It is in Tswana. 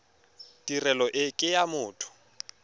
tirelo e ke ya motho